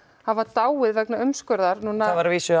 hafa dáið vegna umskurðar núna það var að vísu